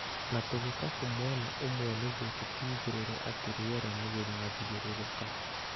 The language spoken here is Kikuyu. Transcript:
Na tũgĩkabũ mwena ũmwe nĩguo tũtigĩrĩre atĩ rĩera nĩ rĩrathiũrũrũka.